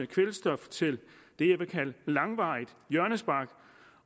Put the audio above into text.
kvælstof til det jeg vil kalde langvarigt hjørnespark